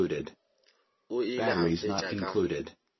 o ile a fetša ka